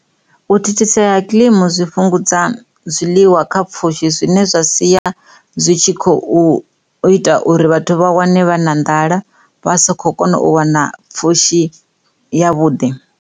U thithisea ha kiḽimi zwi fhungudza zwiḽiwa kha pfhushi zwine zwa sia zwi tshi kho ita uri vhathu vha wane vha na nḓala vha sa kho kona u wana pfhushi ya vhuḓi.